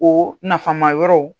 O nafama yɔrɔ.